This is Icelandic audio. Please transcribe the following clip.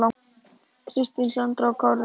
Kristín Sandra og Kári Rafn.